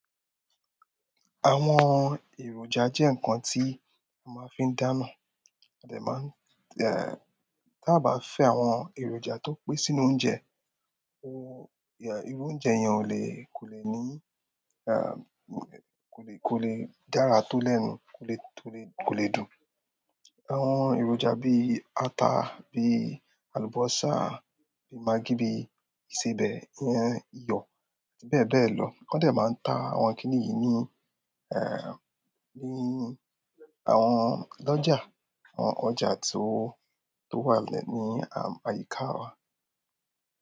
Àwọn èròjà jẹ́ ǹkan tí a máa fí n dáná, a dè máa n, tí a bá fi àwọn èròjà tó pé sínú oúnjẹ, irú oúnjẹ yẹn ò le, kò le ní, kò le, kò le dára tó lẹ́nu, kò le tó le, kò lè dùn. Àwọn eronja bi ata, bi alubosa, maggi bi isebe, iyo bebelo. Wọ́n de máa n ta àwọn kíní yìí ní, ní àwọn lojà, àwọn ọjà tí ó, tó wà lẹ́ní, àyíká wa.